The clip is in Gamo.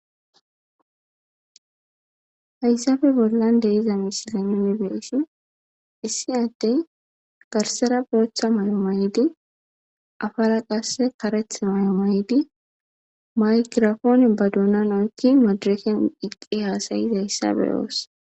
hayssabe bollan de iza misilen yunibeesi issi addey garsera booththa may7o maydi afara qasse kareth may7o maydi maygirafoone ba duuna noykki madireken iqqi haasayiz hayssabe oossa